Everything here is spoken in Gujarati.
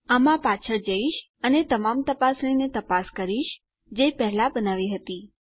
આમાં પાછળ જઈશ અને તમામ તપાસણીને તપાસ કરીશ જે પહેલા બનાવી હતી